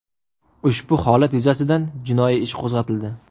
Ushbu holat yuzasidan jinoiy ish qo‘zg‘atildi.